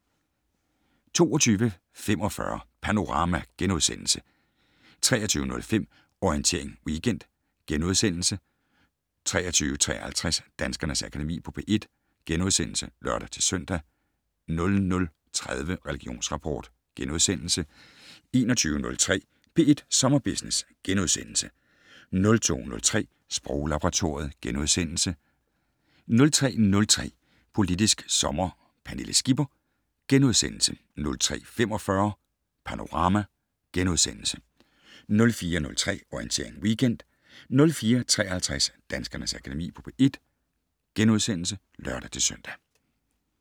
22:45: Panorama * 23:05: Orientering Weekend * 23:53: Danskernes Akademi på P1 *(lør-søn) 00:30: Religionsrapport * 01:03: P1 Sommerbusiness * 02:03: Sproglaboratoriet * 03:03: Politisk Sommer: Pernille Skipper * 03:45: Panorama * 04:03: Orientering Weekend * 04:53: Danskernes Akademi på P1 *(lør-søn)